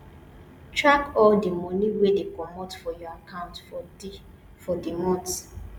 track all di money wey dey comot for your account for di for di month